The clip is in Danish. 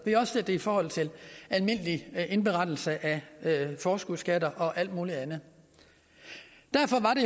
vi har også set det i forhold til almindelig indberettelse af forskudsskatter og alt muligt andet derfor